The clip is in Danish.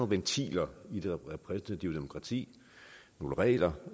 ventiler i det repræsentative demokrati nogle regler